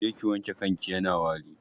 Je ki wanke kanki yana wari